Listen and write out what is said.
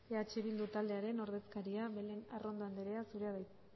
eh bildu taldearen ordezkaria belén arrondo andrea zurea da hitza